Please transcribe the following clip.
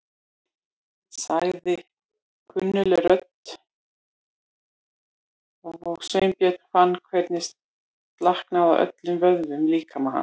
sagði kunnugleg rödd og Sveinbjörn fann hvernig slaknaði á öllum vöðvum í líkama hans.